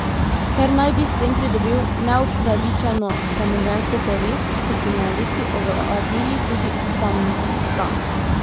Ker naj bi s tem pridobil neupravičeno premoženjsko korist, so kriminalisti ovadili tudi Sambta.